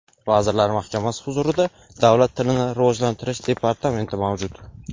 Vazirlar Mahkamasi huzurida Davlat tilini rivojlantirish departamenti mavjud.